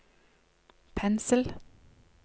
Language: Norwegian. pensel